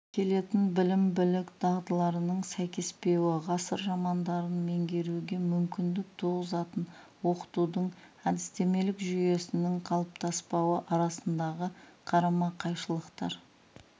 келетін білім-білік дағдыларының сәйкеспеуі ғасыр романдарын меңгеруге мүмкіндік туғызатын оқытудың әдістемелік жүйесінің қалыптаспауы арасындағы қарама-қайшылықтар